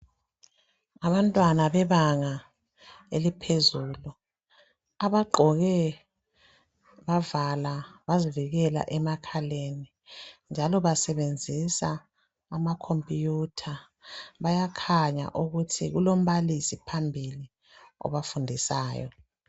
Abantwana bebanga eliphezulu abagqoke bavala bazivikela emakhaleni njalo basebenzisa amacomputer ,bayakhanya ukuthi kulombalisi phambili obafundisayo.